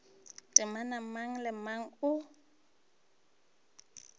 temana mang le mang o